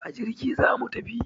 A jirgi zamu tafi